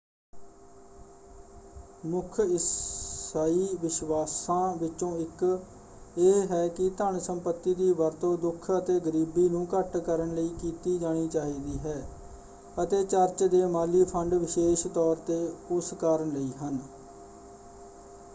ਮੁੱਖ ਇਸਾਈ ਵਿਸ਼ਵਾਸ਼ਾਂ ਵਿਚੋਂ ਇਕ ਇਹ ਹੈ ਕਿ ਧਨ ਸੰਪੱਤੀ ਦੀ ਵਰਤੋਂ ਦੁਖ ਅਤੇ ਗਰੀਬੀ ਨੂੰ ਘੱਟ ਕਰਨ ਲਈ ਕੀਤੀ ਜਾਣੀ ਚਾਹੀਦੀ ਹੈ ਅਤੇ ਚਰਚ ਦੇ ਮਾਲੀ ਫੰਡ ਵਿਸ਼ੇਸ਼ ਤੌਰ 'ਤੇ ਉਸ ਕਾਰਨ ਲਈ ਹਨ।